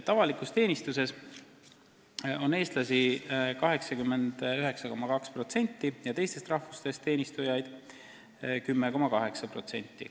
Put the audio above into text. Avalikus teenistuses on eestlasi 89,2% ja teistest rahvustest teenistujaid 10,8%.